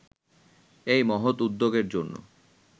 এই মহৎ উদ্যোগের জন্য